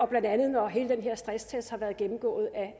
blandt andet når hele den her stresstest har været gennemgået